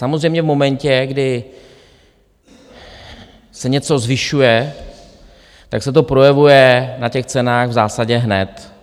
Samozřejmě v momentě, kdy se něco zvyšuje, tak se to projevuje na těch cenách v zásadě hned.